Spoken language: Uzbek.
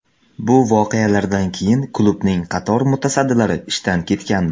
Bu voqealardan keyin klubning qator mutasaddilari ishdan ketgandi.